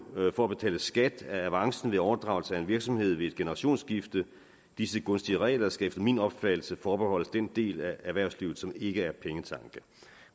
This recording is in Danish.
for at betale skat af avancen ved overdragelse af en virksomhed ved et generationsskifte og disse gunstige regler skal efter min opfattelse forbeholdes den del af erhvervslivet som ikke er pengetanke